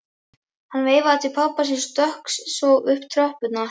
Hann veifaði til pabba síns og stökk svo upp tröppurnar.